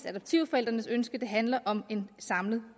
adoptivforældrenes ønsker at det handler om en samlet